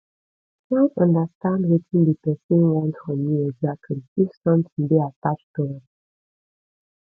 try understand wetin de persin want from you exactly if something de attached to am